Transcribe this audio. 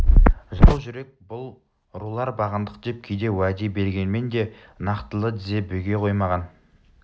жау жүрек бұл рулар бағындық деп кейде уәде бергенмен де нақтылы дізе бүге қоймаған